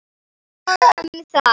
En nóg um það.